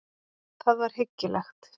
Það var hyggilegt.